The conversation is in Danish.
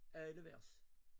Alle vers